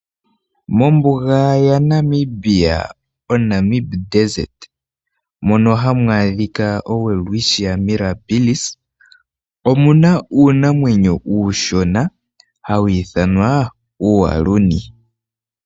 Mombuga ya Namibia, oNamib desert mono hamu adhika owelwichtia mirabilis omuna uunamwenyo uushona hawu ithanwa, uualuni.